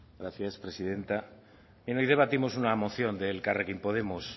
gracias presidenta hoy debatimos una moción de elkarrekin podemos